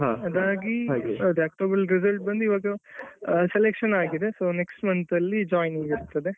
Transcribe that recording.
ಅದಾಗಿ ಅದೇ ಅಕ್ಟೋಬರಲ್ಲಿ result ಬಂದು ಈವಾಗ selectionಆಗಿದೆ, so next month ಅಲ್ಲಿ joiningಇರ್ತದೆ.